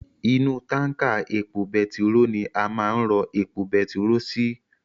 Inú tánkà epo betiró ni a máa n rọ epo betiró sii